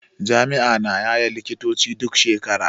Jami'a na yaye likitoci duk shekara.